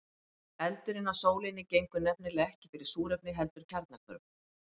Eldurinn á sólinni gengur nefnilega ekki fyrir súrefni heldur kjarnahvörfum.